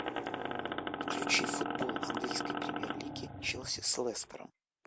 включи футбол английской премьер лиги челси с лестером